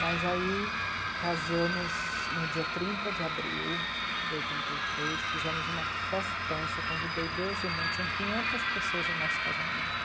Mas aí casamos no dia trinta de abril de oitenta e três, fizemos uma festança, convidei Deus e o mundo, tinham quinhentas pessoas no nosso casamento.